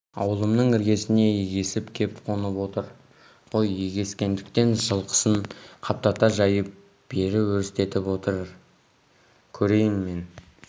аулымның іргесіне егесіп кеп қонып отыр ғой егескендіктен жылқысын қаптата жайып бері өрістетіп отыр көрейін мен